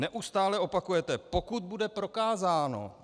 Neustále opakujete - pokud bude prokázáno.